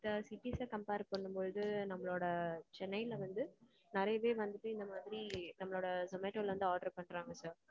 sir cities அ compare பாண்ணும்போது நம்மளோட சென்னைல வந்து நெறைய பேர் வந்து இந்த மாதிரி நம்மளோட Zomato ல வந்து order பன்றாங்க sir.